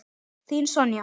Þín Sonja.